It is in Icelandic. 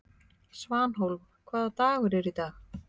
Svanhólm, hvaða dagur er í dag?